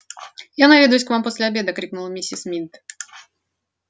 я наведаюсь к вам после обеда крикнула миссис мид